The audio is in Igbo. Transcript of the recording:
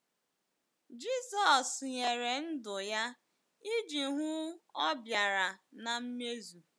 Jizọs nyere ndụ ya iji hụ ọ bịara na mmezu.